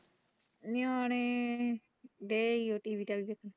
ਨਿਆਣੇ